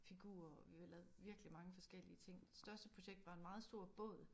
Figurer og vi har lavet virkelig mange forskellige ting største projekt var en meget stor båd